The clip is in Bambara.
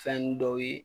Fɛn dɔw ye